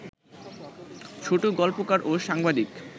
ছোটগল্পকার ও সাংবাদিক